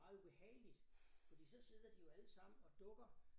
Meget ubehageligt fordi så sidder de jo alle sammen og dukker